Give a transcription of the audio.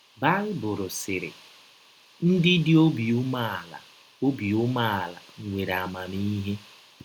Baịbụl sịrị: “ Ndị dị obi umeala obi umeala nwere amamihe. ”